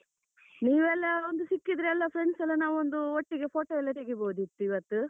ನೀವೆಲ್ಲ ಒಂದು ಸಿಕ್ಕಿದ್ರೆ ಎಲ್ಲ friends ಎಲ್ಲ ನಾವೊಂದು ಒಟ್ಟಿಗೆ photo ಎಲ್ಲ ತೆಗಿಬೋದಿತ್ತು ಇವತ್ತು.